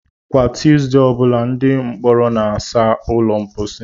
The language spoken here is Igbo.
Kwa Tuesday ọ bụla, ndị mkpọrọ na-asa ụlọ mposi.